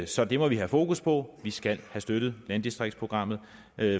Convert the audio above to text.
så det må vi have fokus på vi skal have støttet landdistriktsprogrammet